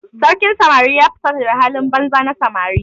Sarkin samari ya fusata da halin banza na samari.